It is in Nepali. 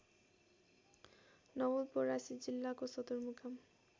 नवलपरासी जिल्लाको सदरमुकाम